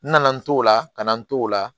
N nana n t'o la kana n t'o la